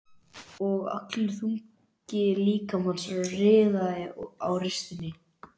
Og allur þungi líkamans riðaði á ristinni.